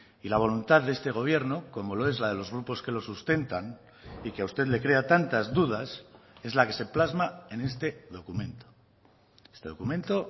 y la voluntad de este gobierno como lo es la de los grupos que los sustentan y que a usted le crea tantas dudas es la que se plasma en este documento este documento